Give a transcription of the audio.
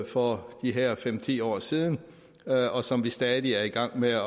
for de her fem ti år siden og som vi stadig er i gang med at